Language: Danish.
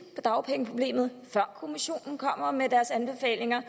på dagpengeproblemet før kommissionen kommer med der er